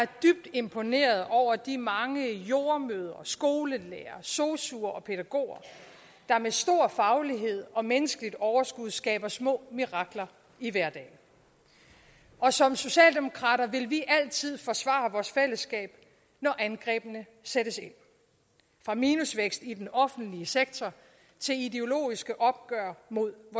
imponeret over de mange jordemødre skolelærere sosuer og pædagoger der med stor faglighed og menneskeligt overskud skaber små mirakler i hverdagen og som socialdemokrater vil vi altid forsvare vores fællesskab når angrebene sættes ind fra minusvækst i den offentlige sektor til ideologiske opgør med